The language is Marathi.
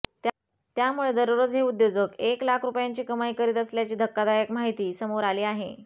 त्यामुळे दररोज हे उद्योजक एक लाख रुपयांची कमाई करीत असल्याची धक्कादायक माहिती समोर आली आहे